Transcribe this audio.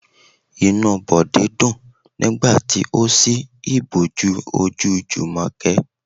Inú Bode dùn nígbà tí ó si ìbòjú ojú Jumoke.